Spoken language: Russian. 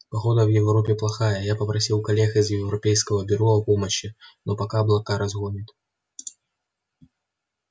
погода в европе плохая я попросил коллег из европейского бюро о помощи но пока облака разгонят